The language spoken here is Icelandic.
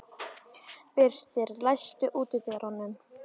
Birtir, læstu útidyrunum.